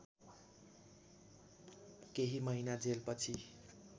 केही महिना जेलपछि